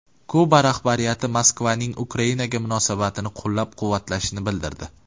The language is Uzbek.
Kuba rahbariyati Moskvaning Ukrainaga munosabatini qo‘llab-quvvatlashini bildirdi.